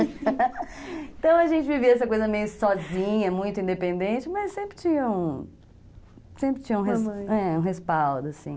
Então a gente vivia essa coisa meio sozinha, muito independente, mas sempre tinha um respaldo, sempre tinha, uma mãe, é, um respaldo assim